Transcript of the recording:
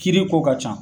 Kiiri ko ka ca